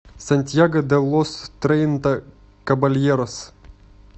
сантьяго де лос трейнта кабальерос